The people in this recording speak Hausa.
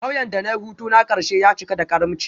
Kauyen da na yi hutuna na karshe ya cika da karimci